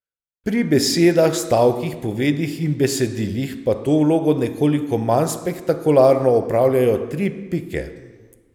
Pri besedah, stavkih, povedih in besedilih pa to vlogo nekoliko manj spektakularno opravljajo tri pike.